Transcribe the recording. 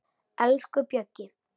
Elsku Bjöggi.